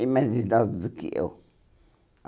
E mais idosos do que eu.